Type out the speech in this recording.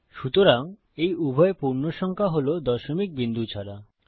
সুতরাং এই উভয় পূর্ণসংখ্যা হল দশমিক বিন্দু ছাড়া